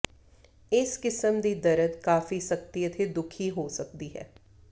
ਇਸ ਕਿਸਮ ਦੀ ਦਰਦ ਕਾਫ਼ੀ ਸਖਤੀ ਅਤੇ ਦੁਖੀ ਹੋ ਸਕਦੀ ਹੈ